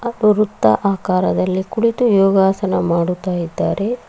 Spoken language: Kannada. ಅವರು ವೃತ್ತ ಅಕಾರದಲ್ಲಿ ಕುಳಿತು ಯೋಗಾಸನ ಮಾಡುತ್ತಿದ್ದಾರೆ.